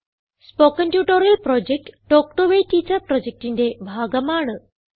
spoken tutorial project talk to a teacher പ്രൊജക്റ്റിന്റെ ഭാഗമാണ്